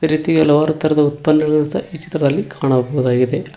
ಅದೇ ರೀತಿ ಹಲವಾರು ತರದ ಉತ್ಪನ್ನಗಳನ್ನು ಸಹ ಈ ಚಿತ್ರದಲ್ಲಿ ಕಾಣಬಹುದಾಗಿದೆ.